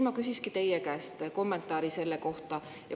Ma küsikski teie käest kommentaari selle kohta.